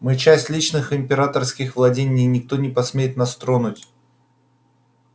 мы часть личных императорских владений и никто не посмеет нас тронуть